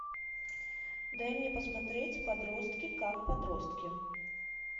дай мне посмотреть подростки как подростки